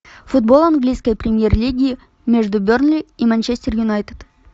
футбол английской премьер лиги между бернли и манчестер юнайтед